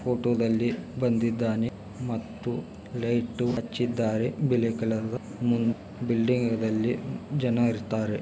Photo ದಲ್ಲಿ ಬಂದಿದ್ದಾನೆ ಮತ್ತು ಲೈಟ್ ಹಚ್ಚಿದ್ದಾರೆ ಬಿಲಿ ಕಲರ್ ದು ಮುಂ ಬಿಲ್ಡಿಂಗ್ ಅಲ್ಲಿ ಜನ ಇರ್ತಾರೆ.